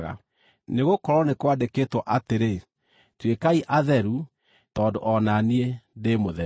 nĩgũkorwo nĩ kwandĩkĩtwo atĩrĩ: “Tuĩkai atheru, tondũ o na niĩ ndĩ mũtheru.”